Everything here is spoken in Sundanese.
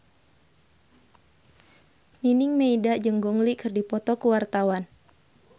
Nining Meida jeung Gong Li keur dipoto ku wartawan